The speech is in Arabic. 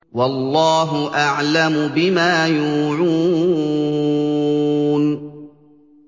وَاللَّهُ أَعْلَمُ بِمَا يُوعُونَ